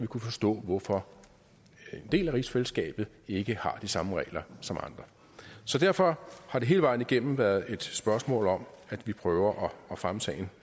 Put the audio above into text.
kunne forstå hvorfor en del af rigsfællesskabet ikke har de samme regler som andre så derfor har det hele vejen igennem været et spørgsmål om at vi prøver at fremme sagen